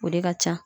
O de ka ca